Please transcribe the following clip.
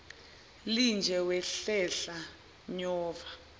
linje wahlehla nyova